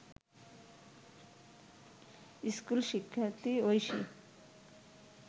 স্কুলশিক্ষার্থী Oishi